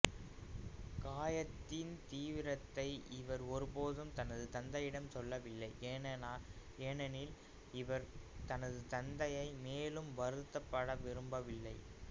காயத்தின் தீவிரத்தை இவர் ஒருபோதும் தனது தந்தையிடம் சொல்லவில்லை ஏனெனில் இவர் தனது தந்தையை மேலும் வருத்தப்படுத்த விரும்பவில்லை